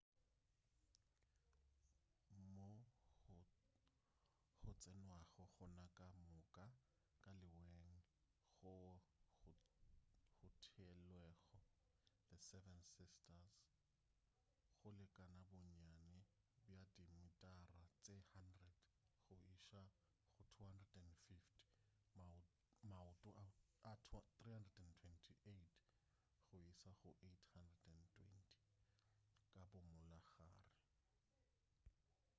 moo go tsenwago gona ka moka ka leweng goo go theelwego the seven sisters go lekana bonnyane bja dimitara tše 100 go iša go 250 maoto a 328 go iša go 820 ka bo molagare